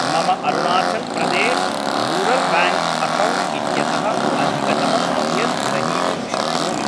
मम Arunachal Pradesh rural bank account इत्यतः अधिकतमं कियद् ग्रहीतुं शक्नोमि?